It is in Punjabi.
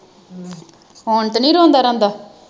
ਹੁਣ ਤੇ ਨੀ ਰੋਂਦਾ ਰਾਦਾ